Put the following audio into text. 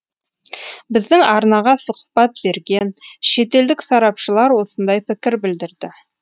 біздің арнаға сұхбат берген шетелдік сарапшылар осындай пікір білдірді